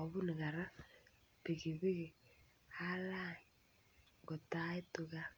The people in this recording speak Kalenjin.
obunu kora pikipiki alany kotaitu gaa.